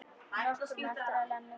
Nokkru eftir að Lena kom.